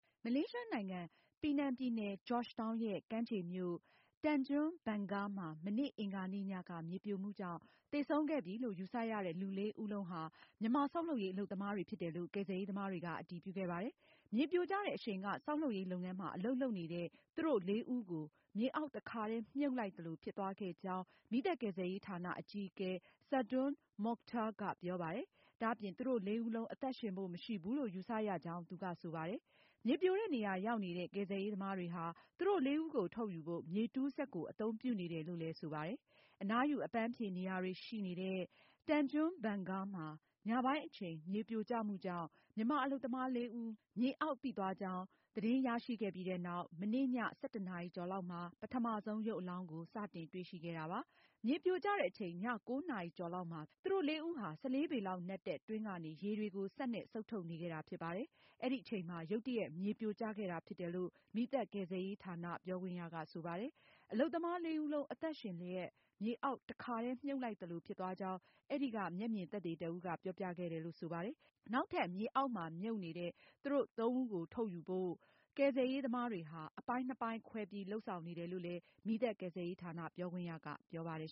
မလေးရှားနိုင်ငံ Penang ပြည်နယ် George Town ရဲ့ ကမ်းခြေမြို့ Tanjung Bungah မှာ မနေ့ အင်္ဂါနေ့ညက မြေပြိုမှုကြောင့် သေဆုံးခဲ့ပြီလို့ ယူဆရတဲ့ လူလေးဦးလုံးဟာ မြန်မာဆောက်လုပ်ရေးအလုပ်သမား တွေဖြစ်တယ်လို့ ကယ်ဆယ်ရေးသမားတွေက အတည်ပြုခဲ့ပါတယ်။ မြေပြိုကျတဲ့အရှိန်က သူတို့လေးဦးကို မြေအောက်တခါတည်း မြှုပ်လိုက်သလို ဖြစ်သွားခဲ့ကြောင်း မီးသတ်ကယ်ဆယ်ရေးဌာန အကြီးအကဲ Saadon Mokhtar ကပြောပါတယ်။ ဒါအပြင် သူတို့လေးဦးလုံး အသက်ရှင်ဖို့ မရှိဘူးလို့ ယူဆရကြောင်း သူက ဆိုပါတယ်။ မြေပြိုတဲ့ နေရာရောက်နေတဲ့ ကယ်ဆယ်ရေးသမားတွေဟာ သူတို့လေးဦးကို ထုတ်ယူဖို့ မြေတူးစက်ကို အသုံးပြုနေတယ်လို့လည်း ဆိုပါတယ်။ အနားယူအပန်းဖြေနေရာတွေရှိနေတဲ့ Tanjung Bungah မှာ ညပိုင်းအချိန် မြေပြိုကျမှုကြောင့် မြန်မာအလုပ်သမား လေးဦး မြေအောက်ပိသွားကြောင်း သတင်းရရှိခဲ့ပြီးနောက် မနေ့ည ၁၁နာရီ ကျော်လောက်မှာ ပထမဆုံး ရုပ်အလောင်းကို စတင်တွေ့ရှိခဲ့တာဖြစ်ပါတယ်။ မြေပြိုကျတဲ့အချိန် ည ၉နာရီကျော်လောက်မှာ သူတို့လေးဦးဟာ ၁၄ ပေလောက်နက်တဲ့ တွင်းကနေ ရေတွေကို စက်နဲ့ စုတ်ထုတ်နေခဲ့တာဖြစ်ပါတယ်။ အဲဒီအချိန်မှာ ရုတ်တရက် မြေပြိုကျခဲ့တာဖြစ်တယ်လို့ မီးသတ်ကယ်ဆယ်ရေးဌာန ပြောခွင့်ရက ဆိုပါတယ်။ အလုပ်သမား လေးဦးလုံး အသက်ရှင်လျက် မြေအောက်တည်းတခါတည်း မြှုပ်လိုက်သလိုဖြစ်သွားကြောင်း အဲဒီက မျက်မြင်သက်သေ တဦးက ပြောပြခဲ့တယ်လို့ ဆိုပါတယ်။ နောက်ထပ် မြေအောက်မှာမြုပ်နေတဲ့သူသုံးဦးကို ထုတ်ယူဖို့ ကယ်ဆယ်ရေးသမားတွေဟာ အပိုင်းနှစ်ပိုင်းခွဲပြီး လုပ်ဆောင်နေတယ်လို့လည်း မီးသတ်ကယ်ဆယ်ရေးဌာန ပြောခွင့်ရကပြောပါတယ်